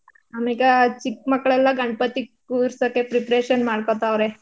ಅಮ್ಯಾಗ ಚಿಕ್ಮಕ್ಲೆಲ್ಲಾ ಗಣಪತಿ ಕುರ್ಸಕ್ಕೆ preparation ಮಾಡ್ಕತಾವ್ರ.